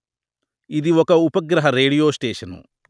ఇది ఒక ఉపగ్రహ రేడియో స్టేషను